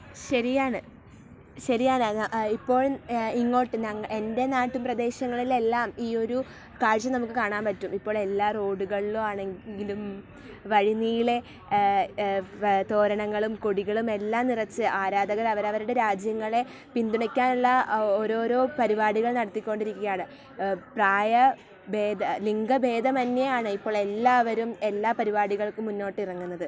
ശരിയാണ് . ശരിയാണ് . ഇപ്പോൾ, ഇങ്ങോട്ട് ഞങ്ങ... എൻ്റെ നാട്ടുപ്രദേശങ്ങളിൽ എല്ലാം ഈ ഒരു കാഴ്ച നമുക്ക് കാണാൻ പറ്റും. ഇപ്പൊ എല്ലാ റോഡുകളിൽ ആണെങ്കിലും വഴിനീളെ ഏ .. ഏ ... തോരണങ്ങളും കൊടികളും എല്ലാം നിറച്ചു ആരാധകർ അവരവരുടെ രാജ്യങ്ങളെ പിന്തുണക്കാനുള്ള ഓരോരോ പരിപാടികൾ നടത്തിക്കൊണ്ടിരിക്കുകയാണ്. പ്രായഭേദ ലിംഗഭേദമന്യേയാണ് ഇപ്പോൾ എല്ലാവരും എല്ലാ പരിപാടികൾക്കും ഇറങ്ങുന്നത്.